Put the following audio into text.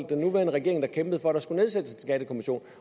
den nuværende regering der kæmpede for at der skulle nedsættes en skattekommission